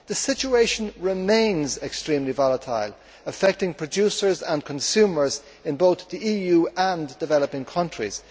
The situation remains extremely volatile, affecting producers and consumers in both the EU and developing countries.